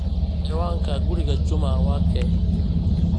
ciwaanka guriga juma wa keeh